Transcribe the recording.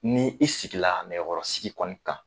Ni i sigi la nɛgɛkɔrɔsigi kɔni kan.